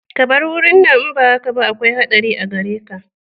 Ka bar wurin nan in ba haka ba akwai haɗari a gare ka